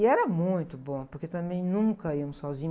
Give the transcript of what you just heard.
E era muito bom, porque também nunca íamos sozinhos.